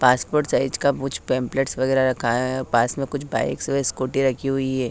Passport size का कुछ pamphlets वगैरह रखा है पास में कुछ बाइक्स व स्कूटी रखी हुई हैं।